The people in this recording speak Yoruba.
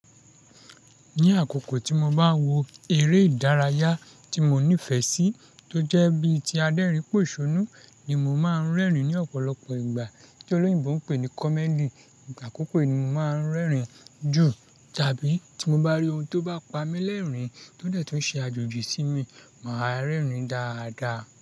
Ní àkókò tí mo bá wo eré ìdárayá tí mo nífẹ̀ẹ́ sí tó jẹ́ bí tí Adérín pòṣònú ni mo máa ń rẹ́rìn-ín ní ọ̀pọ̀lọpọ̀ ìgbà tí olóyìnbo ń pè ní comedy. Àkọ́kọ́ yí ni mo máa ń rẹ́rìn-ín jù tàbí tí mo bá rí ohun tó bá pa mí lẹ́rìn-ín tó dẹ̀ tún ṣe àjòjì sí mi, màá rẹ́rìn-ín dáadáa.